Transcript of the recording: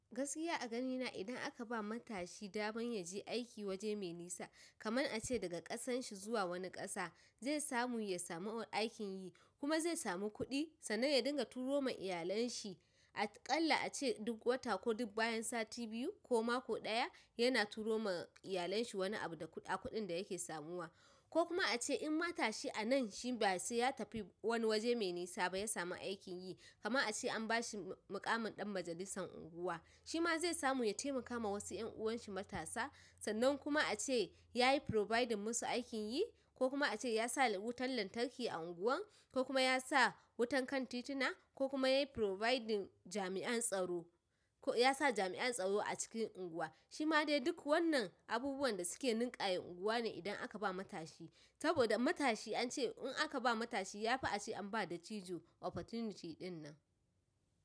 Gaskiya a ganina idan aka ba matashi daman ya je aiki waje mai nisa, kamar a ce daga ƙasan shi zuwa wani ƙasa, zai samu ya samu aikin yi kuma zai samu kuɗi sannan ya dinga turo ma iyalen shi. A ƙalla a ce duk wata ko duk bayan sati biyu ko mako ɗaya yana turo ma iyalen shi wani abu da kuɗa kuɗin da yake samuwa. Ko kuma a ce in matashi a nan shi ba sai ya tafi wani waje mai nisa ba ya samu aikin yi, kaman a ce an bashi muƙamin ɗan majalisan unguwa, shi ma zai samu ya taimaka ma wasu 'yan'uwan shi matasa sannan kuma a ce yayi providing musu aikin yi ko kuma a ce ya sa wutan lantarki a unguwan, ko kuma ya sa wutan kan titina ko kuma ya yi providing jami'an tsaro, ya sa jami'an tsaro a cikin unguwa shi ma dai duk wannan abubuwan da suke ninkaya unguwa ne idan aka bawa matashi saboda matashi an ce in aka ba matashi ya fi a ce an ba dattijo opportunity ɗin nan.